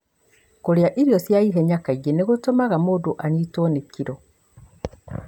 Kũrĩa irio cia ihenya kaingĩ nĩ gũtũmaga mũndũ anyitwo nĩ kilo.